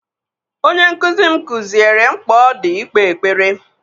Onye nkụzi m kụziere mkpa ọ dị ikpe ekpere.